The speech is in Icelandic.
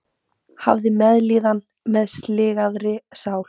Hafið meðlíðan með sligaðri sál.